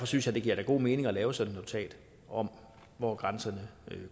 synes da det giver god mening at lave sådan et notat om hvor grænserne